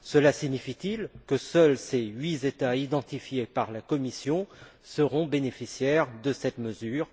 Cela signifie t il que seuls ces huit États identifiés par la Commission seront bénéficiaires de cette mesure?